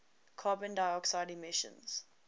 carbon dioxide emissions